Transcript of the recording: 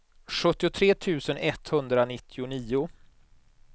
sjuttiotre tusen etthundranittionio